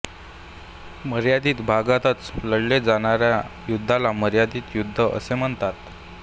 मर्यादित भागातच लढले जाणाऱ्या युद्धाला मर्यादित युद्ध असे म्हणतात